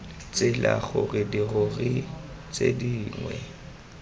tsela gore dirori tse dingwe